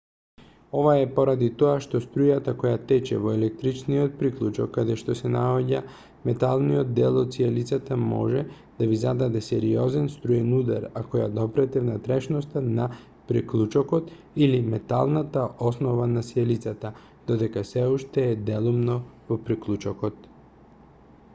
ова е поради тоа што струјата која тече во електричниот приклучок каде што се наоѓа металниот дел од сијалицата може да ви зададе сериозен струен удар ако ја допрете внатрешноста на приклучокот или металната основа на сијалицата додека сè уште е делумно во приклучокот